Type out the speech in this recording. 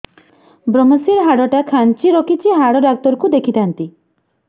ଵ୍ରମଶିର ହାଡ଼ ଟା ଖାନ୍ଚି ରଖିଛି ହାଡ଼ ଡାକ୍ତର କୁ ଦେଖିଥାନ୍ତି